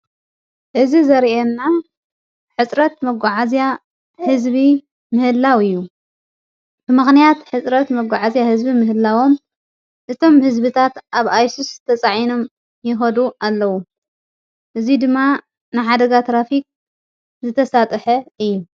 እዝ ዘርአና ሕጽረት መጎዓእዚያ ሕዝቢ ምህላው እዩ ብመኽንያት ሕጽረት መጕዓእዚያ ሕዝቢ ምህላዎም እቶም ሕዝቢታት ኣብ ኣይሱስ ዝተፃዒኖም ይወዱ ኣለዉ እዙይ ድማ ንሓደጋ ትራፊቅ ዝተሳጥሐ እዩ።